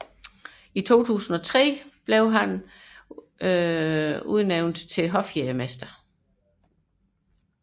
I 2003 blev han udnævnt til hofjægermester